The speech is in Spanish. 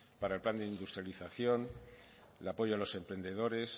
para el plan de industrialización el apoyo a los emprendedores